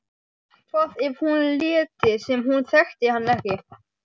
Hvað ef hún léti sem hún þekkti hann ekki?